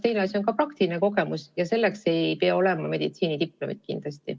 Teine asi on aga praktiline kogemus ja selleks ei pea olema meditsiinidiplomit.